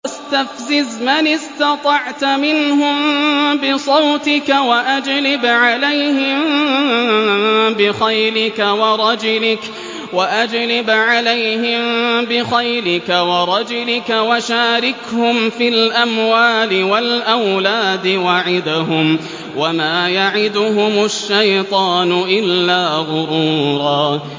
وَاسْتَفْزِزْ مَنِ اسْتَطَعْتَ مِنْهُم بِصَوْتِكَ وَأَجْلِبْ عَلَيْهِم بِخَيْلِكَ وَرَجِلِكَ وَشَارِكْهُمْ فِي الْأَمْوَالِ وَالْأَوْلَادِ وَعِدْهُمْ ۚ وَمَا يَعِدُهُمُ الشَّيْطَانُ إِلَّا غُرُورًا